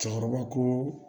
Cɛkɔrɔba ko